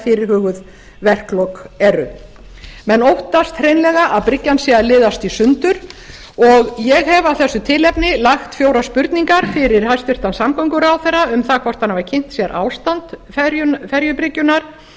fyrirhuguð verklok eru menn óttast hreinlega að bryggjan sé að liðast í sundur og ég hef af þessu tilefni lagt fjórar spurningar fyrir hæstvirtan samgönguráðherra um það hvort hann hafi kynnt sér ástand ferjubryggjunnar